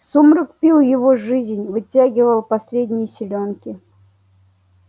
сумрак пил его жизнь вытягивал последние силёнки